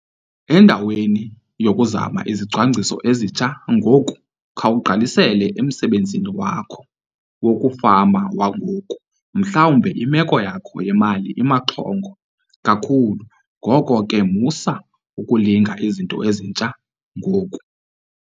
Endaweni yokuzama izicwangciso ezitsha ngoku, khawugqalisele emsebenzini wakho wokufama wangoku. Mhlawumbi imeko yakho yemali imaxongo kakhulu, ngoko ke musa ukulinga izinto ezintsha ngoku.